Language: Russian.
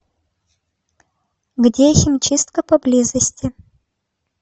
где химчистка поблизости